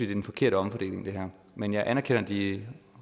den forkerte omfordeling men jeg anerkender de